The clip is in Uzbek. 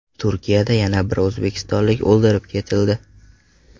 Turkiyada yana bir o‘zbekistonlik o‘ldirib ketildi.